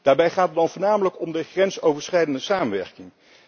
Daarbij gaat het dan voornamelijk over de grensoverschrijdende samenwerking.